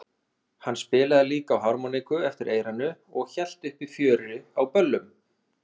Hann spilaði líka á harmoníku eftir eyranu og hélt uppi fjöri á böllum.